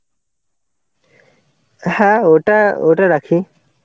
হ্যাঁ ওটা ওটা রাখি.